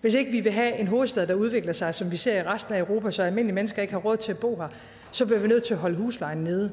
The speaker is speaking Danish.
hvis ikke vi vil have en hovedstad der udvikler sig som vi ser i resten af europa så almindelige mennesker ikke har råd til at bo der så bliver vi nødt til at holde huslejen nede